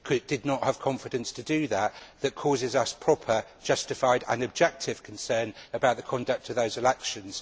did not have the confidence to do this that causes us proper, justified and objective concerns about the conduct of those elections.